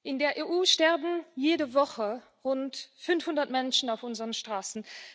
In der EU sterben jede Woche rund 500 Menschen auf unseren Straßen.